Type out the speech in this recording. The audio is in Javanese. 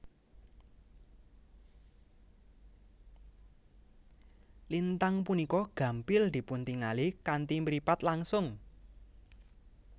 Lintang punika gampil dipuntingali kanthi mripat langsung